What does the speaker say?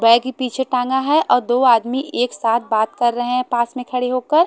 Bag ही पीछे टांगा है और दो आदमी एक साथ बात कर रहे हैं पास में खड़े होकर।